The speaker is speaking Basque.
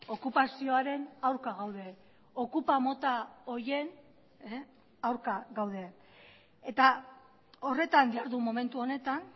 okupazioaren aurka gaude okupa mota horien aurka gaude eta horretan jardun momentu honetan